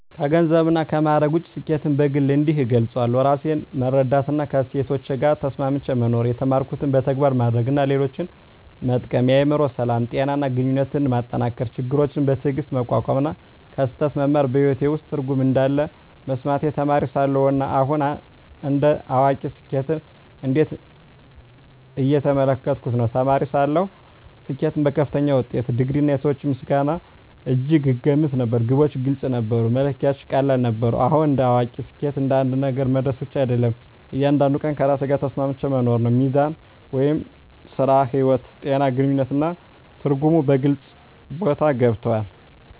ከገንዘብና ከማዕረግ ውጭ፣ ስኬትን በግል እንዲህ እገልጻለሁ፦ ራሴን መረዳትና ከእሴቶቼ ጋር ተስማምቼ መኖር የተማርኩትን በተግባር ማድረግ እና ሌሎችን መጠቀም የአእምሮ ሰላም፣ ጤና እና ግንኙነቶችን መጠንከር ችግሮችን በትዕግስት መቋቋም እና ከስህተት መማር በሕይወቴ ውስጥ ትርጉም እንዳለ መሰማቴ ተማሪ ሳለሁ እና አሁን እንደ አዋቂ ስኬትን እንዴት እየተመለከትኩ ነው? ተማሪ ሳለሁ ስኬትን በከፍተኛ ውጤት፣ ዲግሪ፣ እና የሰዎች ምስጋና እጅግ እገመት ነበር። ግቦች ግልጽ ነበሩ፣ መለኪያዎቹም ቀላል ነበሩ። አሁን እንደ አዋቂ ስኬት አንድ ነገር መድረስ ብቻ አይደለም፤ እያንዳንዱን ቀን ከራሴ ጋር ተስማምቼ መኖር ነው። ሚዛን (ሥራ–ሕይወት)፣ ጤና፣ ግንኙነት እና ትርጉም በግልጽ ቦታ ገብተዋል።